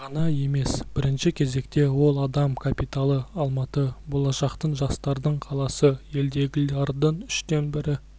ғана емес бірінші кезекте ол адам капиталы алматы болашақтың жастардың қаласы елдегі лардың үштен бірі